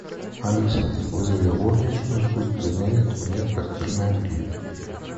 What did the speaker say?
алиса вызови горничную пусть заменит мне постельное белье